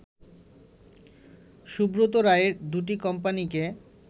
সুব্রত রায়ের দুটি কোম্পানিকে